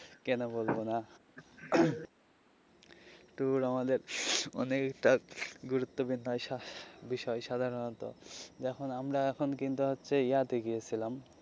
কেন বলবো না tour আমাদের অনেক একটা গুরুত্ব বিষয় সাধারণত যখন আমরা এখন কিন্তু হচ্ছে ইয়া তে গিয়েছিলাম.